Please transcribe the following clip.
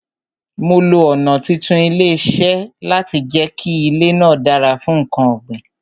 Mo lo ọ̀nà títún ilẹ̀ ṣe láti jẹ kí ilè náà dára fún nkan ọ̀ gbìn